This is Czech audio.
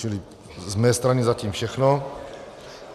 Čili z mé strany zatím všechno.